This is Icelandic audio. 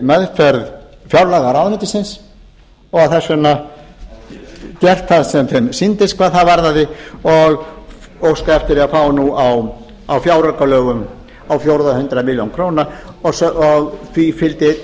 meðferð fjárlaga ráðuneytisins og þess vegna gert það sem þeim sýndist hvað það varðaði og óska eftir því að fá nú á fjáraukalögum á fjórða hundrað milljónir króna og það fylgdi einnig